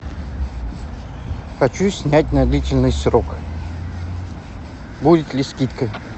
хочу снять на длительный срок будет ли скидка